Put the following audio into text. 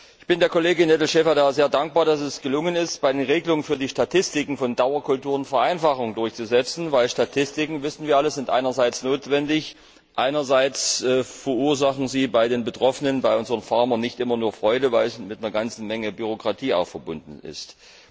Ich bin der Kollegin Nedelcheva sehr dankbar, dass es gelungen ist, bei den Regelungen für die Statistiken von Dauerkulturen Vereinfachungen durchzusetzen, denn Statistiken das wissen wir alle sind einerseits notwendig, andererseits verursachen sie bei den Betroffenen, bei unseren Landwirten, nicht immer nur Freude, weil sie auch mit einer ganzen Menge Bürokratie verbunden sind.